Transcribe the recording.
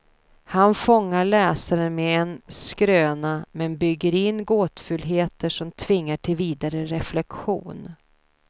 Han fångar läsaren med en skröna, men bygger in gåtfullheter som tvingar till vidare reflektion.